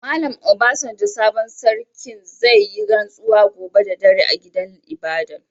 Mallam Obasanjo sabon sarkin, zai yi ransuwa gobe da dare a gidan ibada'n.